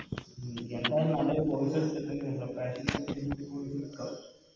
ഉം എന്തായാലും നല്ലൊരു Course എടുത്തിട്ട്